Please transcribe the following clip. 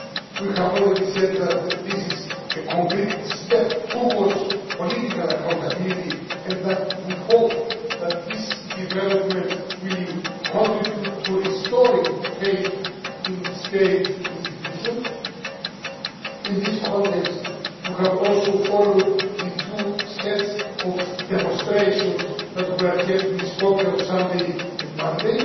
We have already said that this is a concrete step towards political accountability and that we hope that this development will contribute to restoring faith in state institutions. In this context we have also followed the two sets of demonstrations that were held in Skopje on Sunday and Monday.